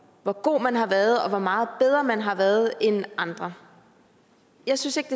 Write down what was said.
hvor god man har været og hvor meget bedre man har været end andre jeg synes ikke